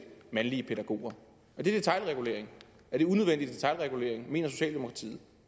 mandlige pædagoger er det detailregulering er det unødvendig detailregulering mener socialdemokratiet